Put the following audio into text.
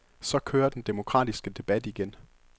Så kører den demokratiske debat igen.